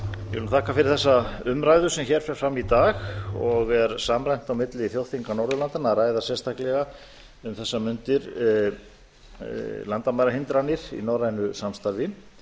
vil þakka fyrir þessa umræðu sem hér fer fram í dag og er samræmt á milli þjóðþinga norðurlandanna að ræða sérstaklega um þessar mundir landamærahindranir í norrænu samstarfi